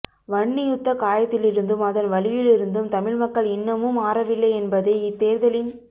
வன்னி யுத்தக் காயத்திலிருந்தும் அதன் வலியிலிருந்தும் தமிழ் மக்கள் இன்னமும் ஆறவில்லையென்பதை இத்தேர்தலின்